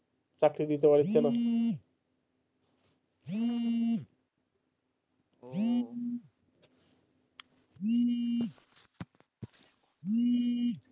চাকরি দিতে না পারছে না,